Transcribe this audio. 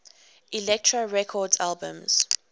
elektra records albums